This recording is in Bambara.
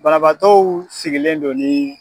Banabaatow sigilen don ni